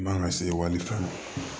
Man ka se walifɛn ma